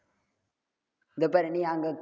இங்க பாரு நீ அங்க